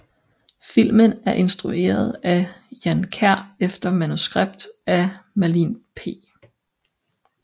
Filmen er instrueret af Jan Kjær efter manuskript af Merlin P